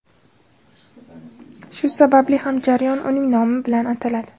Shu sababli ham jarayon uning nomi bilan ataladi.